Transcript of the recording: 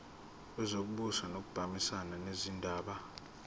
wezokubusa ngokubambisana nezindaba